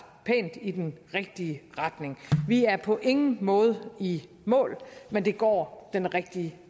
pænt i den rigtige retning vi er på ingen måde i mål men det går den rigtige